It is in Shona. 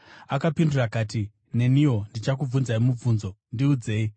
Akapindura akati, “Neniwo ndichakubvunzai mubvunzo. Ndiudzei,